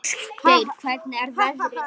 Ásgeir, hvernig er veðrið?